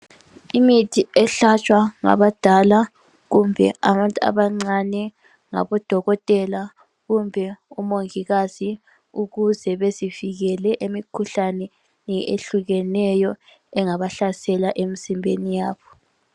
Imithi ehlatshwa ngabadala kumbe abantu abancane ngabodokotela kumbe umongikazi ukuze bezivikele emikhuhlaneni ehlukeneyo engabahlasela emzimbeni yabo.